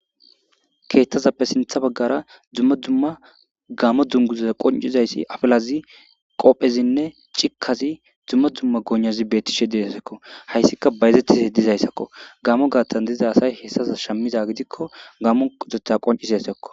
keettazappe sinththa baggara dumma dumma gamo dunguzza qoncizayssi afilazi qophezinne cikkazi dumma dumma goynazi beettishe dizayssako hayssika bayazettize dizayssakko gamo gaattan diza asay hessaza shammiza gidikko gamo qotetta qoncisayssakko